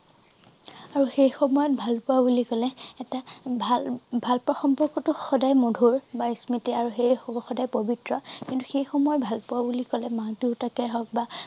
আৰু সেই সময়ত ভালপোৱা বুলি কলে এটা ভাল ভাল পোৱা সম্পৰ্কতো সদায় মধুৰ বা স্মৃতি আৰু সেই সদায় প্ৰবিত্ৰ কিন্তু সেই সময় ভালপোৱা বুলি কলে মাক দেউতাকে হওঁক বা